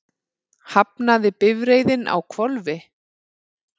Hafnaði bifreiðin á hvolfi